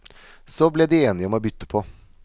Så ble de enige om å bytte på.